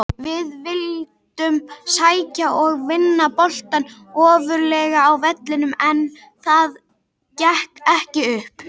Við vildum sækja og vinna boltann ofarlega á vellinum en það gekk ekki upp.